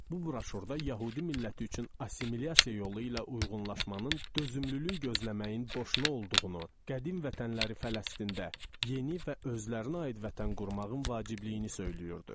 Bu broşurda yəhudi milləti üçün assimilyasiya yolu ilə uyğunlaşmanın, dözümlülük gözləməyin boşuna olduğunu, qədim vətənləri Fələstində yeni və özlərinə aid vətən qurmağın vacibliyini söyləyirdi.